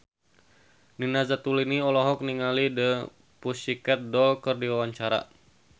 Nina Zatulini olohok ningali The Pussycat Dolls keur diwawancara